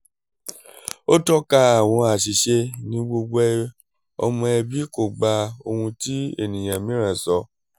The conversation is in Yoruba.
ó tọ́ka àwọn àṣìṣe ni gbogbo ọmọ ẹbí kò gba ohun tí ènìyàn mìíràn sọ